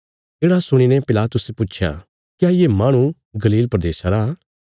येढ़ा सुणीने पिलातुसे पुच्छया क्या ये माहणु गलील प्रदेशा रा